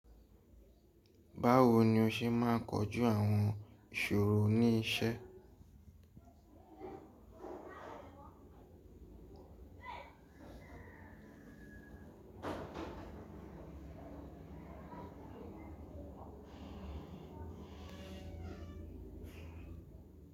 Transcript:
Báwo ni o ṣe máa ń kojú àwọn ìṣòro ní iṣẹ́?